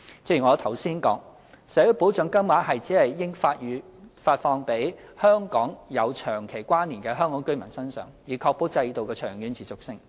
正如我剛才指出，社會保障金額只應發放予跟香港有長期關連的香港居民，以確保制度的長遠持續性。